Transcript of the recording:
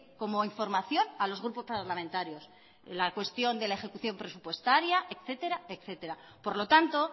como información a los grupos parlamentarios la cuestión de la ejecución presupuestaria etcétera etcétera por lo tanto